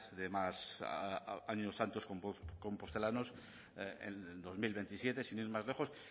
de más años santos compostelanos en dos mil veintisiete sin ir más lejos